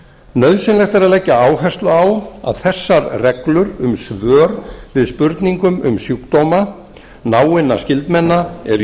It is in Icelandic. nauðsynlegt er að leggja áherslu á að þessar reglur um svör við spurningum um sjúkdóma náinna skyldmenna eru í